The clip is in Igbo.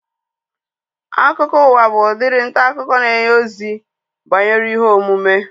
Akụkọụwa bụ udiri ntaakụkọ na-enye ozi banyere ihe omume